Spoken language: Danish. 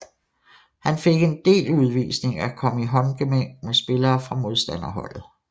Han fik en del udvisninger og kom i håndgemæng med spillere fra modstanderholdet